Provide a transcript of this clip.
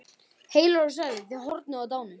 Heilir og sælir, þið horfnu og dánu.